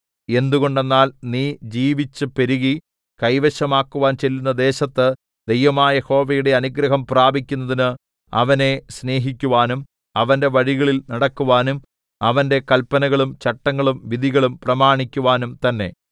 എന്തുകൊണ്ടെന്നാൽ നീ ജീവിച്ച് പെരുകി കൈവശമാക്കുവാൻ ചെല്ലുന്ന ദേശത്ത് ദൈവമായ യഹോവയുടെ അനുഗ്രഹം പ്രാപിക്കുന്നതിന് അവനെ സ്നേഹിക്കുവാനും അവന്റെ വഴികളിൽ നടക്കുവാനും അവന്റെ കല്പനകളും ചട്ടങ്ങളും വിധികളും പ്രമാണിക്കുവാനും തന്നെ